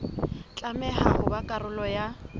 tlameha ho ba karolo ya